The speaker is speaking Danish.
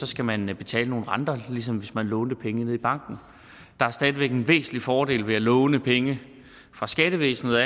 skal man betale nogle renter ligesom hvis man lånte penge i banken der er stadig væk en væsentlig fordel ved at låne penge af skattevæsenet